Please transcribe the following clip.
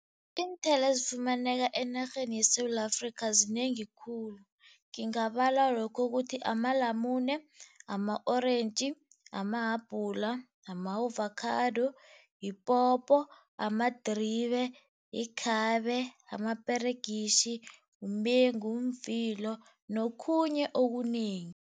Iinthelo ezifumaneka enarheni yeSewula Afrikha, zinengi khulu. Ngingabala lokho Ukuthi amalamune, ama-orentji, amahabhula, ama-ovakhado, yipopo, amadribe, yikhabe, amaperegitjhi, umengu, umvilo nokhunye okunengi.